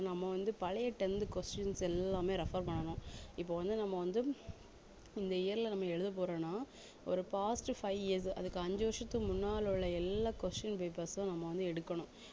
நம்ம வந்து பழைய tenth questions எல்லாமே refer பண்ணணும் இப்ப வந்து நம்ம வந்து இந்த year ல நம்ம எழுதப் போறோம்னா ஒரு past five years அதுக்கு அஞ்சு வருஷத்துக்கு முன்னால உள்ள எல்லா question papers ம் நம்ம வந்து எடுக்கணும்